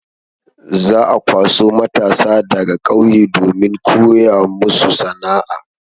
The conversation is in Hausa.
Za'a kwaso matasa daga ƙauye domin koya musu sana'a.